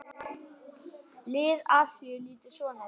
Lið Asíu lítur svona út